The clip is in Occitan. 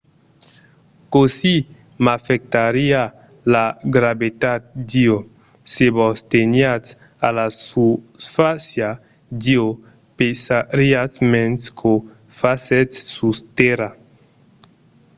cossí m'afectariá la gravetat d'io? se vos teniatz a la susfàcia d'io pesariatz mens qu'o fasètz sus tèrra